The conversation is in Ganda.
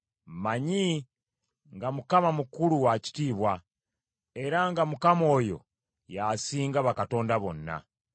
Mmanyi nga Mukama mukulu wa kitiibwa, era nga Mukama oyo y’asinga bakatonda bonna.